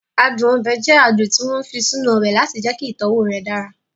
Adùn ọbẹ̀ jẹ adùn tí wọ́n fi sínú ọbẹ̀ láti jẹ́kí ìtọ́wọ̀ rẹ̀ dára